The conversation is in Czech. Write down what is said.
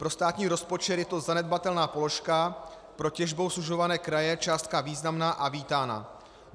Pro státní rozpočet je to zanedbatelná položka, pro těžbou sužované kraje částka významná a vítaná.